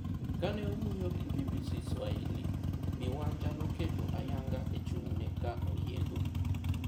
Kane owuoyo gi BBC Swahili, Bi Wanja noketo ayanga e chung'ne ka oyiego.